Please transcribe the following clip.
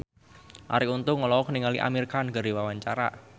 Arie Untung olohok ningali Amir Khan keur diwawancara